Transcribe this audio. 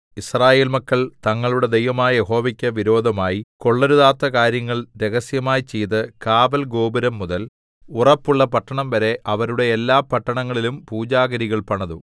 യിസ്രായേൽ മക്കൾ തങ്ങളുടെ ദൈവമായ യഹോവയ്ക്ക് വിരോധമായി കൊള്ളരുതാത്ത കാര്യങ്ങൾ രഹസ്യമായി ചെയ്ത് കാവൽ ഗോപുരംമുതൽ ഉറപ്പുള്ള പട്ടണംവരെ അവരുടെ എല്ലാ പട്ടണങ്ങളിലും പൂജാഗിരികൾ പണിതു